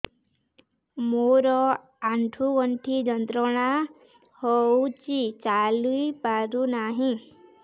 ମୋରୋ ଆଣ୍ଠୁଗଣ୍ଠି ଯନ୍ତ୍ରଣା ହଉଚି ଚାଲିପାରୁନାହିଁ